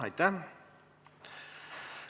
Ei ole.